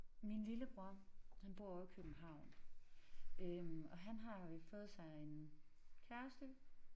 Min lillebror han bor ovre i København øh og han har jo i fået sig en kæreste